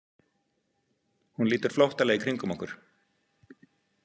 Hún lítur flóttalega í kringum okkur.